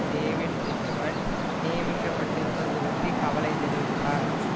David Richmond நியமிக்கப்பட்டிருப்பது பற்றி கவலை தெரிவித்தார்